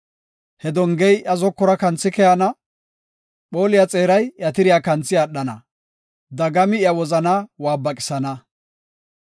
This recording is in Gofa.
He dongey iya zokora kanthi keyana; phooliya xeeray iya tiriya kanthi aadhana; dagami iya wozanaa waabaqisana.